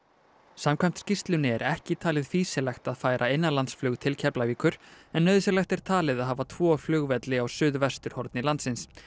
samkvæmt skýrslunni er ekki talið fýsilegt að færa innanlandsflug til Keflavíkur en nauðsynlegt er talið að hafa tvo flugvelli á suðvesturhorni landsins